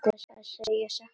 Að segja satt og elska